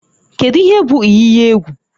Kedu ihe bụ iyi iyi egwu?